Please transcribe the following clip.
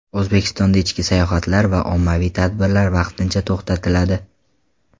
O‘zbekistonda ichki sayohatlar va ommaviy tadbirlar vaqtincha to‘xtatiladi.